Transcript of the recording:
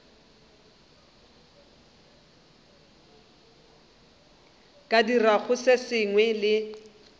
ka dirago se sengwe le